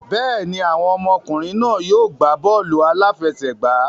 Bẹ́ẹ̀ ni, àwọn ọmọkùnrin náà yóò gbá bọ́ọ̀lù aláfẹsẹ̀gbá